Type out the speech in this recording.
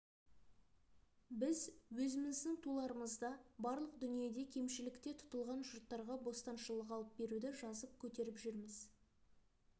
біз өзіміздің туларымызда барлық дүниеде кемшілікте тұтылған жұрттарға бостаншылық алып беруді жазып көтеріп жүрміз